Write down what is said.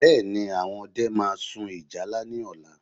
Bẹ́ẹ̀ni, àwọn ọdẹ máa sun ìyálá ní ọ̀la